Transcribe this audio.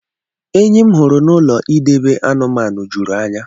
Enyi m hụrụ na ụlọ idebe anumanu jụrụ anya.